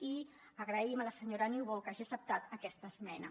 i agraïm a la senyora niubó que hagi acceptat aquesta esmena